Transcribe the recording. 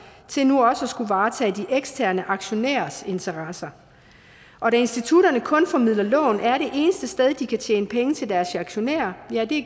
til nu også at skulle varetage de eksterne aktionærers interesser og da institutterne kun formidler lån er det eneste sted hvor de kan tjene penge til deres aktionærer